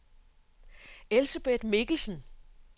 Elsebeth Mikkelsen